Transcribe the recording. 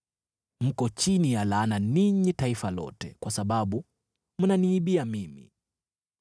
Mko chini ya laana, ninyi taifa lote, kwa sababu mnaniibia mimi.